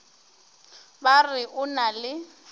ba re o na le